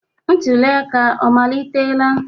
Ntuli aka ọ amalitela?